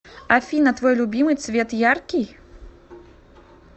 афина твой любимый цвет яркий